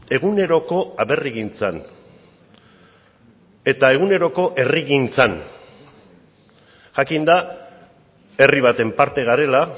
eguneroko aberrigintzan eta eguneroko herrigintzan jakinda herri baten parte garela